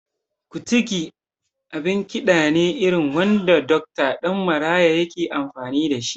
Kutigi abin kiɗa ne irin wanda Dokta Ɗan Maraya yake amfani da shi